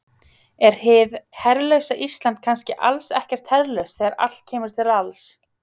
Er hið herlausa Ísland kannski alls ekkert herlaust þegar allt kemur til alls?